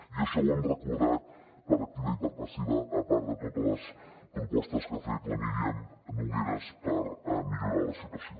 i això ho hem recordat per activa i per passiva a part de totes les propostes que ha fet la míriam nogueras per millorar la situació